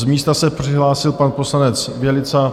Z místa se přihlásil pan poslanec Bělica.